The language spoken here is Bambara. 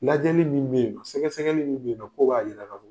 Lajɛli min bɛ yen sɛgɛsɛgɛli min bɛ yen nɔ ko b'a jira ka fɔ